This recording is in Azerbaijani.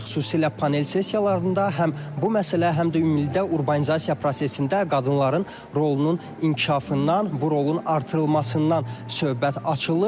Xüsusilə panel sessiyalarında həm bu məsələ, həm də ümumilikdə urbanizasiya prosesində qadınların rolunun inkişafından, bu rolun artırılmasından söhbət açılıb.